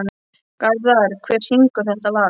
Garðar, hver syngur þetta lag?